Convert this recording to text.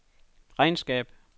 regnskab